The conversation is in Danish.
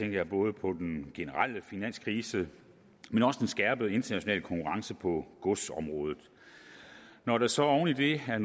jeg både på den generelle finanskrise og den skærpede internationale konkurrence på godsområdet når der så oven i det er